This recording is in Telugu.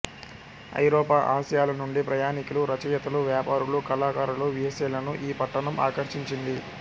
ఐరోపా ఆసియాల నుండి ప్రయాణికులు రచయితలు వ్యాపారులు కళాకారులు వేశ్యలను ఈ పట్టణం ఆకర్షించింది